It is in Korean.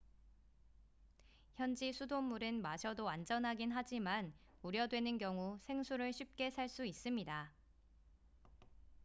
현지 수돗물은 마셔도 안전하긴 하지만 우려되는 경우 생수를 쉽게 살 수 있습니다